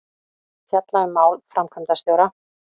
Fjalla um mál framkvæmdastjóra